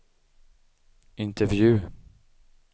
intervju